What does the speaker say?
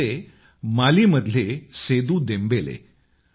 हे होते माली मधील सेदू देमबेले